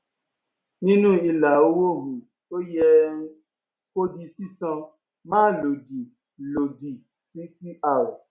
nínú ilà owó um tó yẹ um kó di sísan máa lòdì lòdì sí cr